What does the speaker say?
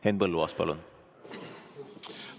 Henn Põlluaas, palun!